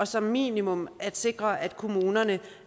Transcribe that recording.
som minimum at sikre at kommunerne